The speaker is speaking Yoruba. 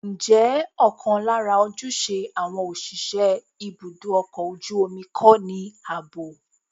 Ǹjẹ́ ọ̀kan lára ojúṣe àwọn òṣìṣẹ́ ibùdó ọkọ̀ ojú omi kọ́ ní ààbò?